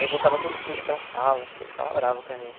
Aí voltava todo sujo para sala, as tia ficava brava com a gente.